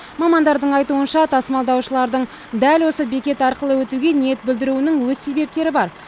мамандардың айтуынша тасымалдаушылардың дәл осы бекет арқылы өтуге ниет білдіруінің өз себептері бар